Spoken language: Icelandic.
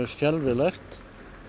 skelfilegt